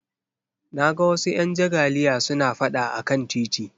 Na ga wasu 'yan jagaliya suna fada a kan titi